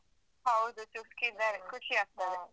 ಹೌದು ಚುರ್ಕ್ ಇದ್ದಾರೆ ಖುಷಿಯಾಗ್ತದೆ.